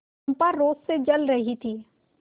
चंपा रोष से जल रही थी